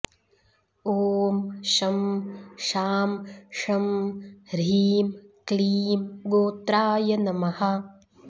ॐ शं शां षं ह्रीं क्लीं गोत्राय नमः